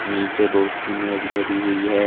नीचे बहुत सी मेज धरी हुई है।